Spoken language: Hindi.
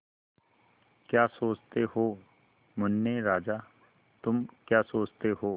क्या सोचते हो मुन्ने राजा तुम क्या सोचते हो